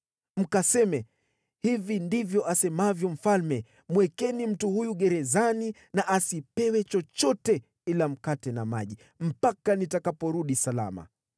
Mkaseme, ‘Hivi ndivyo asemavyo mfalme: Mwekeni mtu huyu gerezani na asipewe chochote ila mkate na maji mpaka nitakaporudi salama.’ ”